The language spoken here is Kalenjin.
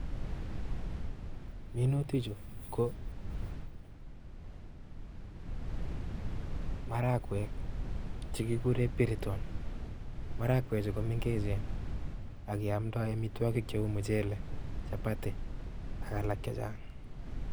Minutichu ko marakwek chekikure piriton marakwechu komengechen akeomdoi amitwokoi cheu muchelek chapati ak alak chechang.